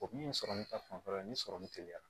O min ye sɔrɔ min ta fanfɛla ye ni sɔrɔ min teliyara